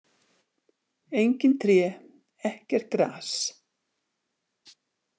Engin tré, ekkert gras.